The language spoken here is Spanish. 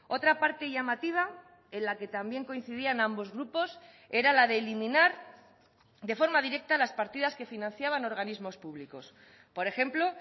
otra parte llamativa en la que también coincidían ambos grupos era la de eliminar de forma directa las partidas que financiaban organismos públicos por ejemplo